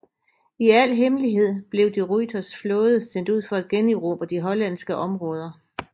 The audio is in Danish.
I al hemmelighed blev de Ruyters flåde sendt ud for at generobre de hollandske områder